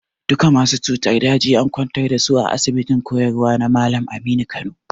Duka masu cutar daji and kwantar da su a asibitin koyarwa na Malam Aminu Kano.